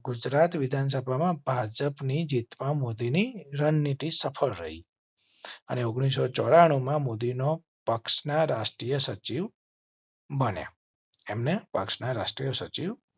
ગુજરાત વિધાનસભા માં ભાજપની જીત માં મોદી ની રણનીતિ સફળ રહી અને ઓગણીસો ચોરા ણું માં પક્ષના રાષ્ટ્રીય સચિવ. અને એમ ને પક્ષના રાષ્ ટ્રીય સચિવ